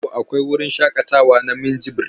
A Kano akwai wurin shaƙatawa na Minjibir.